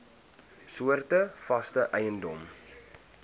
soorte vaste eiendom